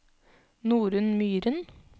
Norunn Myhren